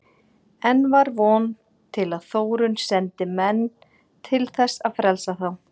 Enn var von til að Þórunn sendi menn til þess að frelsa þá.